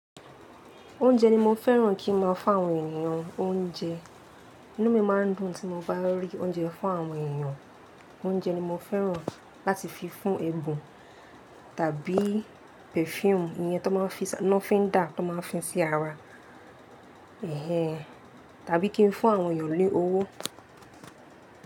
Oúnjẹ ni mo fẹ́ràn kí ń máa fún àwọn ènìyàn. Oúnjẹ inú mi máa ń dùn tí mo bá lọ rí oúnjẹ fún àwọn ènìyàn. Oúnjẹ ni mo fẹ́ràn láti fi fún ẹbùn tàbí perfume ìyẹn tí wọ́n fi ń dà, lofindá, tí wọ́n fi ń dá ara èhèh tàbí kí n fún àwọn ènìyàn lé owó.